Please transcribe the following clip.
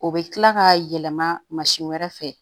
O bɛ kila k'a yɛlɛma mansin wɛrɛ fɛ